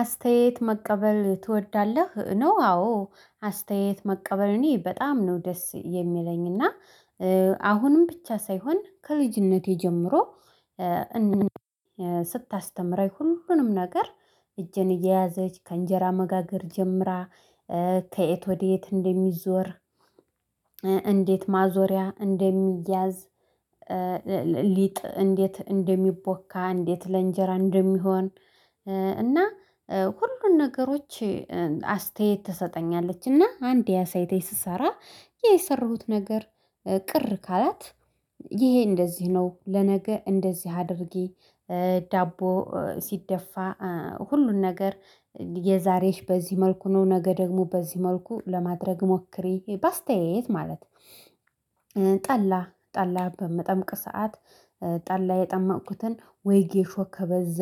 አስታየት መቀበል ትወዳለህ ነው? አዎ አስታየት መቀበል እኔ በጣም ነው ደስ የሚለኝና። አሁንም ብቻ ሳይሆን ከልጅነቴ ጀምሮ ስታስተምረኝ ሁሉንም ነገር። እጄን እየያዘች ከእንጀራ መጋገር ጀምራ ከየት ወዴት እንደሚዞር እንዴት ማዞሪያ እንደሚያዝ ሊጥ እንዴት እንደሚቦካ እንዴት ለእንጀራ እንደሚሆን። እና ሁሉን ነገሮች አስታየት ትሰጠኛለች እና አንዴ አሳይታኝ ስሰራ የሰሩት ነገር ቅር ካላት ይሄ እንደዚህ ነው ለነገ እንደዚህ አድርጊ። ዳቦ ሲደፋ ሁሉን ነገር የዛሬሽ በዚህ መልኩ ነው ነገ ደግሞ በዚህ መልኩ ለማድረግ ሞክሬ በአስተያየት ማለት። ጠላ ጠላ በምጠምቅ ሰዓት ጠላ የጠመኩትን ወይ ጌሾ ከበዛ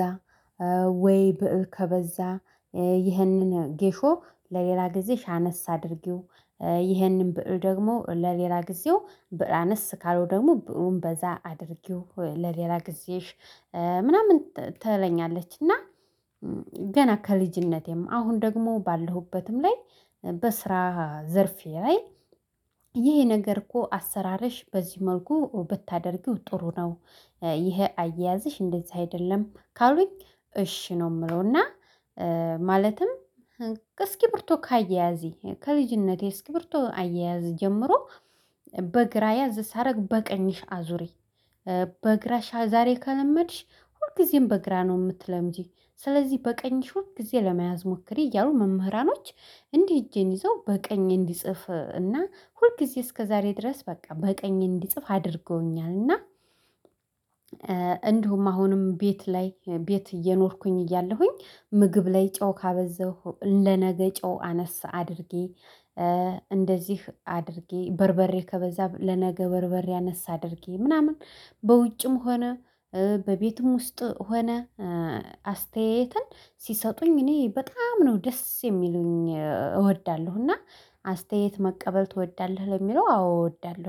ወይ ብእል ከበዛ ይሄንን ጌሾ ለሌላ ጊዜሽ አነስ አድርጊው። ይሄንን ብእል ደግሞ ለሌላ ጊዜው ብእል አነስ ካለው ደግሞ ብእሉን በዛ አድርጊው ለሌላ ጊዜሽ ምናምን ትለኛለች። እና ገና ከልጅነቴም አሁን ደግሞ ባለሁበትም ላይ በስራ ዘርፌ ላይ ይሄ ነገር እኮ አሰራርሽ በዚህ መልኩ ብታደርጊው ጥሩ ነው። ይሄ አያያዝሽ እንደዚህ አይደለም ካሉኝ እሺ ነው ምለውና። እስኪርብርቶ ካያያዜ ከልጅነቴ እስኪብርቶ አያያዝ ጀምሮ በግራ ያዝ ሳረግ በቀኝሽ አዙሪ። በግራሽ ዛሬ ከለመድሽ ሁልጊዜም በግራ ነው ምትለምጂ። ስለዚህ በቀኝሽ ሁል ጊዜ ለመያዝ ሞክሪ እያሉ መምህራኖች እንዲህ እጄን ይዘው በቀኝ እንድጽፍ እና ሁል ጊዜ እስከዛሬ ድረስ በቃ በቀኝ እንድጽፍ አድርገውኛል። እና እንዲሁም አሁንም ቤት ላይ ቤት እየኖርኩኝ እያለሁኝ ምግብ ላይ ጮው ካበዛሁ ለነገ ጨው አነስ አድርጌ። እንደዚህ አድርጌ በርበሬ ከበዛ ለነገ በርበሬ ያነሰ አድርጌ ምናምን በውጭም ሆነ በቤቱም ውስጥ ሆነ አስተያየትን ሲሰጡኝ እኔ በጣም ነው ደስ የሚሉኝ እወዳለሁ። እና አስተያየት መቀበል ትወዳለህ ለሚለው አዎ እወዳለው